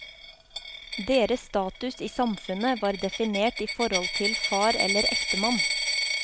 Deres status i samfunnet var definert i forhold til far eller ektemann.